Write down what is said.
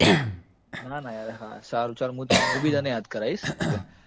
ના ના યાર હા સારું ચલ હું તન મું બી તને યાદ કરાવીશ ok